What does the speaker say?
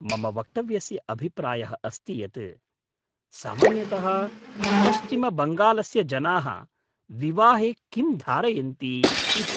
मम वक्तव्यस्य अभिप्रायः अस्ति यत् सामान्यतः पश्चिमबङ्गालस्य जनाः विवाहे किं धारयन्ति इति।